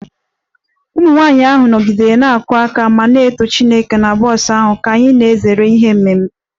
Ụmụ nwanyị ahụ nọgidere na-akụ aka ma na-eto Chineke na bọs ahụ ka anyị na-ezere ihe mberede